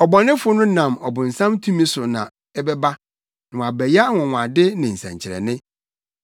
Ɔbɔnefo no nam ɔbonsam tumi so na ɛbɛba na wabɛyɛ anwonwade ne nsɛnkyerɛnne,